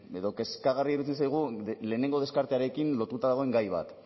edo kezkagarria iruditzen zaigu lehenengo deskartearekin lotuta dagoen gai bat